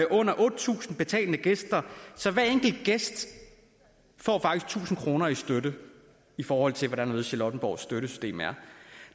under otte tusind betalende gæster får hver enkelt gæst faktisk tusind kroner i støtte i forhold til hvordan charlottenborgs støttesystem er